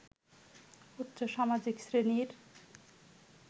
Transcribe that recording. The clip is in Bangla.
উচ্চ সামাজিক শ্রেণীর